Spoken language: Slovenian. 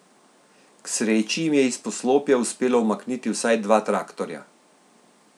K sreči jim je iz poslopja uspelo umakniti vsaj dva traktorja.